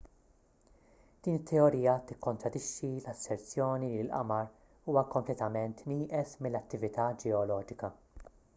din it-teorija tikkontradixxi l-asserzjoni li l-qamar huwa kompletament nieqes mill-attività ġeoloġika